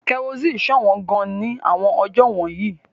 Kerosene ṣọ̀wọ́n gan-an ní àwọn ọjọ́ wọ̀nyí.